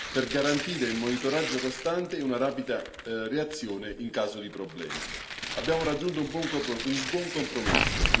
per garantire il monitoraggio costante e una rapida reazione in caso di problemi. Abbiamo raggiunto un buon compromesso.